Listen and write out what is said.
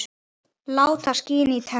Láta skína í tennur.